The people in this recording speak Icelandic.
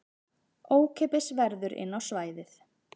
Ókeypis verður inn á svæðið